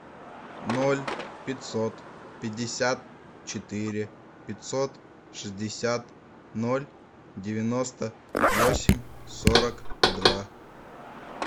ноль пятьсот пятьдесят четыре пятьсот шестьдесят ноль девяносто восемь сорок два